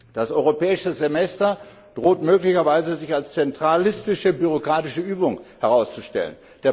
Das europäische Semester droht möglicherweise sich als zentralistische bürokratische Übung herauszustellen.